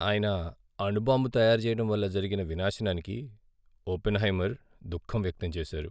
ఆయన అణు బాంబు తయారు చేయటం వల్ల జరిగిన వినాశానికి ఒపెన్హైమర్ దుఖం వ్యక్తం చేశారు.